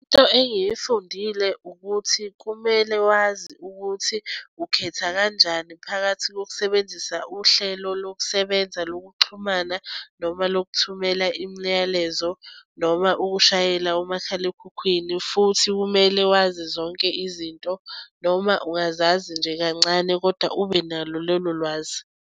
Into engiyifundile ukuthi kumele wazi ukuthi ukhetha kanjani phakathi kokusebenzisa uhlelo lokusebenza lokuxhumana noma lokuthumela imiyalezo, noma ukushayela umakhalekhukhwini. Futhi kumele wazi zonke izinto, noma ungazazi nje kancane kodwa ubenalo lolo lwazi.